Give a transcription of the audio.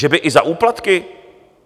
Že by i za úplatky?